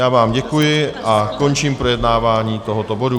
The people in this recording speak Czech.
Já vám děkuji a končím projednávání tohoto bodu.